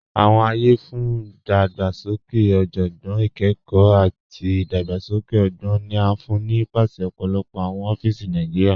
Awọn ayé fún idàgbàsókè ọjọ́gbọ́n, ìkẹ́kọ̀, àti idàgbàsókè ọ̀gbọn ni a fún ni nípasẹ̀ ọ̀pọ̀lọpọ̀ awọn ọ̀fíìsì Nàìjíríà.